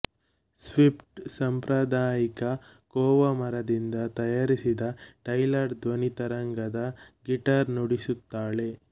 Swift ಸಾಂಪ್ರದಾಯಿಕ koa ಮರದಿಂದ ತಯಾರಿಸಿದ ಟೈಲರ್ ಧ್ವನಿತರಂಗದ ಗಿಟಾರ್ ನುಡಿಸುತ್ತಾಳೆ